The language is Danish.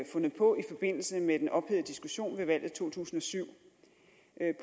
fundet på i forbindelse med den ophedede diskussion ved valget i to tusind og syv